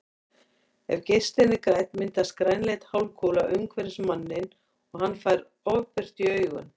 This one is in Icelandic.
Ef geislinn er grænn myndast grænleit hálfkúla umhverfis manninn og hann fær ofbirtu í augun.